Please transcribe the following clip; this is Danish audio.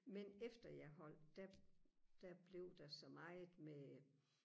men efter jeg holdt der der blev der så meget med